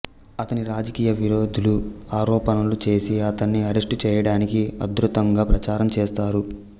అతని రాజకీయ విరోధులు ఆరోపణలు చేసి అతన్ని అరెస్టు చేయడానికి ఉధృతంగా ప్రచారం చేసారు